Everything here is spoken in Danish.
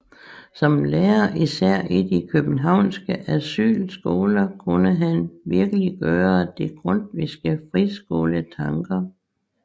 Som lærer især i de københavnske Asylskoler kunne han virkeliggøre de grundtvigske friskoletanker